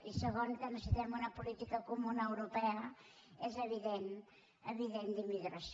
i segon que necessitem una política comuna europea és evident a nivell d’immigració